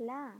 La,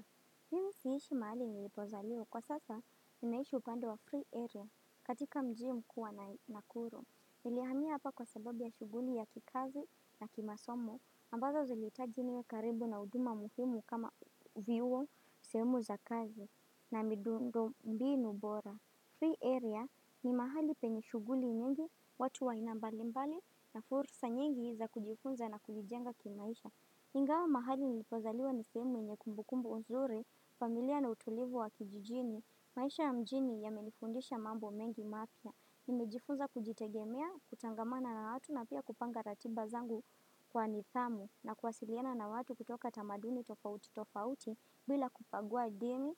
siishi mahali nilipozaliwa kwa sasa ninaishi upande wa free area katika mji mkuu wa nakuru. Nilihamia hapa kwa sababu ya shughuli ya kikazi na kimasomo ambazo zilitahiji niwe karibu na uhuduma muhimu kama vyuo sehemu za kazi na midundo mbiinu bora. Free area ni mahali penye shughuli nyingi watu wa inambalimbali na fursa nyingi za kujifunza na kujijenga kimaisha. Ingawa mahali nilipozaliwa ni sehemu yenye kumbukumbu nzuri, familia na utulivu wa kijijini, maisha ya mjini yamenifundisha mambo mengi mapya. Nimejifunza kujitegemea, kutangamana na watu na pia kupanga ratiba zangu kwa nidhamu na kuwasiliana na watu kutoka tamaduni tofauti tofauti bila kubagua dini,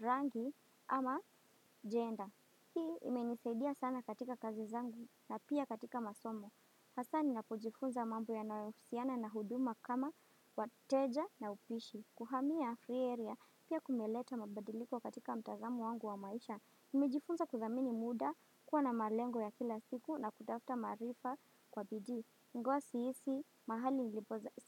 rangi ama jenda. Hii imenisaidia sana katika kazi zangu na pia katika masomo. Hasa ni napojifunza mambo ya nahusiana na huduma kama wateja na upishi. Kuhamia free area pia kumeleta mabadiliko katika mtazamu wangu wa maisha. Nimejifunza kudhamini muda, kuwa na malengo ya kila siku na kutafta maarifa kwa bidii. Ingawa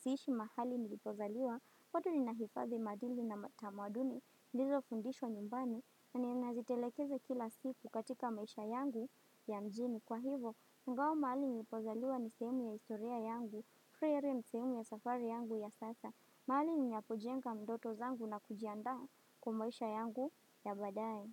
siishi mahali nilipozaliwa, bado ninahifadhi maadili na matamaduni. Niliizo fundishwa nyumbani na ninazitelekeze kila sifu katika maisha yangu ya mjini. Kwa hivo, ingawa mahali nipozaliwa ni sehemu ya historia yangu, free area ni sehemu ya safari yangu ya sasa, mahali ninapo jenga ndoto zangu na kujiandaa kwa maisha yangu ya badai.